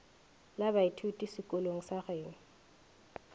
la baithuti sekolong sa geno